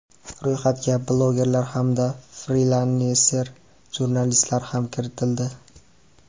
Ro‘yxatga blogerlar hamda frilanser jurnalistlar ham kiritildi.